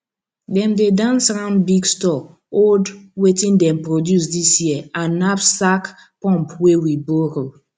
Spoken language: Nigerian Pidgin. dem dey dance round big store hold wetin dem produce dis year and knapsack pump wey we borrow